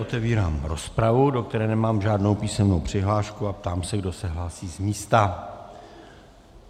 Otevírám rozpravu, do které nemám žádnou písemnou přihlášku, a ptám se, kdo se hlásí z místa.